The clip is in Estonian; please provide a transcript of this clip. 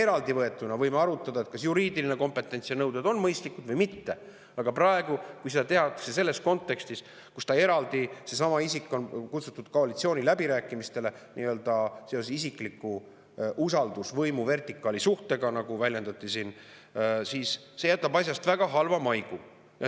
Eraldivõetuna me võime isegi arutada, kas juriidiline kompetents ja nõuded on mõistlikud või mitte, aga praegu, kui seda tehakse sellises kontekstis, et seesama isik on kutsutud eraldi koalitsiooniläbirääkimistele seoses isikliku usaldusvõimuvertikaali suhtega, nagu siin väljendati, jätab see asjast väga halva maigu.